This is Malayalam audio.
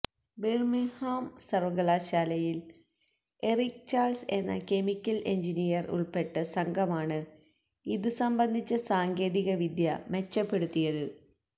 ബിർമിംഗ്ഹാം സർവ്വകലാശാലയിൽ എറിക് ചാൾസ് എന്ന കെമിക്കൽ എഞ്ചിനിയർ ഉൾപ്പെട്ട സംഘമാണ് ഇതുസംബന്ധിച്ച സാങ്കേതികവിദ്യ മെച്ചപ്പെടുത്തിയത്